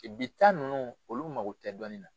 I bi ta ninnu olu mago tɛ dɔɔnin na